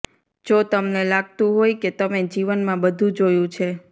જો તમને લાગતું હોય કે તમે જીવનમાં બધુ જોયું છે